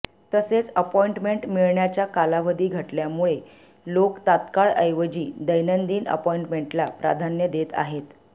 तसेच अपॉइंटमेंट मिळण्याचा कालावधी घटल्यामुळे लोक तत्काळ ऐवजी दैनंदिन अपॉइंटमेंटला प्राधान्य देत आहेत